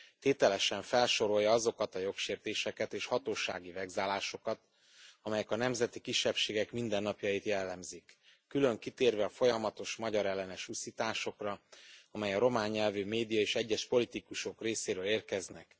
Tételesen felsorolja azokat a jogsértéseket és hatósági vegzálásokat, amelyek a nemzeti kisebbségek mindennapjait jellemzik, külön kitérve a folyamatos magyarellenes uszításokra, amelyek a román nyelvű média és egyes politikusok részéről érkeznek.